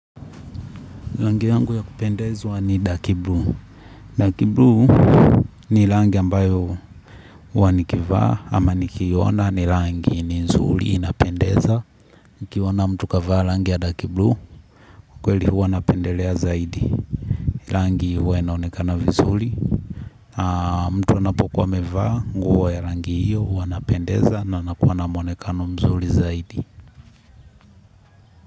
Rangi yangu ya kupendezwa ni darki blu. Darki bluu ni rangi ambayo huwa nikivaa ama nikiiona ni rangi ni nzuri inapendeza. Nikiona mtu kavaa rangi ya darki bluu kwa kweli huwa napendelea zaidi. Rangi huwa inaonekana vizuri. Mtu anapokuwa amevaa nguo ya rangi hiyo huwa anapendeza na anakuwa na muonekano mzuri zaidi.